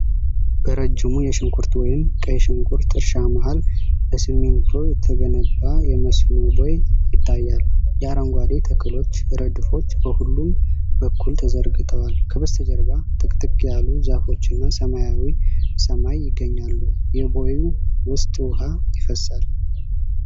በረጅሙ የሽንኩርት ወይም ቀይ ሽንኩርት እርሻ መሃል በሲሚንቶ የተገነባ የመስኖ ቦይ ይታያል። የአረንጓዴ ተክሎች ረድፎች በሁለቱም በኩል ተዘርግተዋል፤ ከበስተጀርባ ጥቅጥቅ ያሉ ዛፎችና ሰማያዊ ሰማይ ይገኛሉ። የቦዩ ውስጥ ውሃ ይፈሳል።